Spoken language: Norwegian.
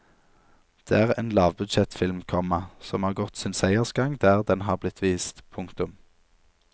Det er en lavbudsjettfilm, komma som har gått sin seiersgang der den har blitt vist. punktum